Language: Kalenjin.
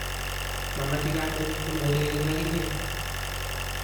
mamache kamennyu aureren ak inyee